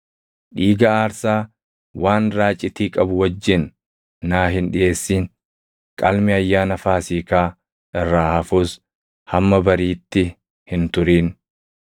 “Dhiiga aarsaa waan raacitii qabu wajjin naa hin dhiʼeessin; qalmi Ayyaana Faasiikaa irraa hafus hamma bariitti hin turin.